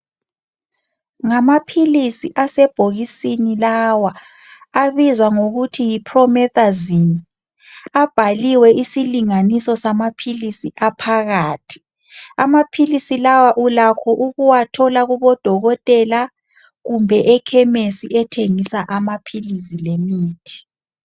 Ngamaphilisi asebhokisini lawa abizwa ngokuthi yiPromethazine abhaliwe isilinganiso samaphilisi aphakathi amaphilisi lawa ulakho ukuwathola kubodokotela kumbe ekhemisi ethengisa amaphilisi lemithi.